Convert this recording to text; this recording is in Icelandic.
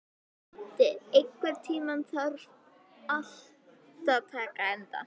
Búddi, einhvern tímann þarf allt að taka enda.